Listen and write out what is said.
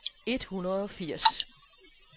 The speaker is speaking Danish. et hundrede og firs